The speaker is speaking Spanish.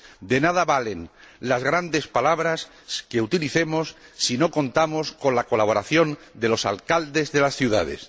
De nada valen las grandes palabras que utilicemos si no contamos con la colaboración de los alcaldes de las ciudades.